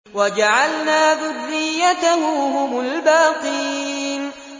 وَجَعَلْنَا ذُرِّيَّتَهُ هُمُ الْبَاقِينَ